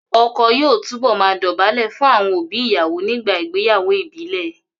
Ọkọ yóò túbọ̀ máa dọ̀bálẹ̀ fún àwọn òbí ìyàwó nígbà ìgbéyàwó ìbílẹ̀